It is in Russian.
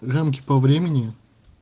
рамки по времени